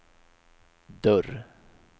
dörr